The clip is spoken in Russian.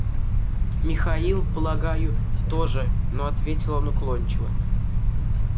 михаил полагаю тоже но ответил он уклончиво